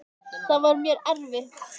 Það var mér erfitt.